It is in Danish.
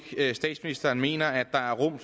statsministeren mener at der er rum